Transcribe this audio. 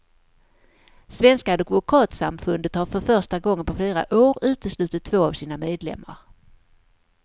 Svenska advokatsamfundet har för första gången på flera år uteslutit två av sina medlemmar.